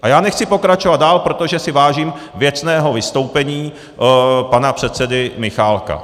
A já nechci pokračovat dál, protože si vážím věcného vystoupení pana předsedy Michálka.